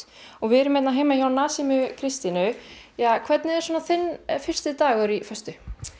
við erum hérna heima hjá Kristínu hvernig er þinn fyrsti dagur í föstu